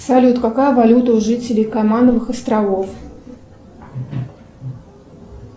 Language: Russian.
салют какая валюта у жителей каймановых островов